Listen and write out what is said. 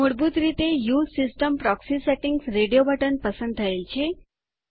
મૂળભૂત રીતે U S E system proxy settings radio button પસંદ થયેલ છે